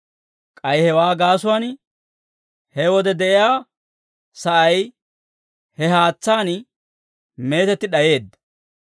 K'ay hewaa gaasuwaan, he wode de'iyaa sa'ay he haatsaan mitetti d'ayeedda.